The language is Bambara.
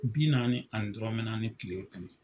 Bi naani ani dɔrɔnmɛ naani tile kɔnɔ.